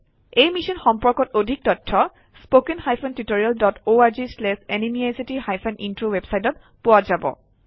এই মিশ্যন সম্পৰ্কত অধিক তথ্য spoken hyphen tutorial dot org slash এনএমইআইচিত হাইফেন ইন্ট্ৰ ৱেবচাইটত পোৱা যাব